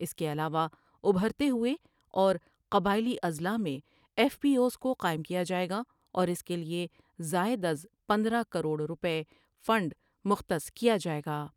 اس کے علاوہ ابھرتے ہوئے اور قبائیلی اضلاع میں ایف پی آو ایس کو قائم کیا جاۓ گا اور اس کے لیے زائداز پندرہ کروڑ روپئے فنڈ مختص کیا جاۓ گا ۔